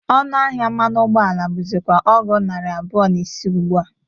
Ọnụ ahịa mmanụ ụgbọ ala bụzịkwa ọgụ narị abụọ na ise ugbụ a.